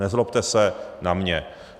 Nezlobte se na mě.